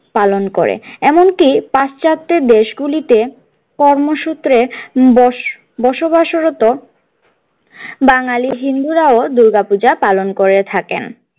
পালন করে এমনকি পাশ্চাত্যের দেশগুলিতে কর্মসূত্রে বসবাসরত বাঙালী হিন্দুরাও দুর্গা পূজা পালন করে থাকেন।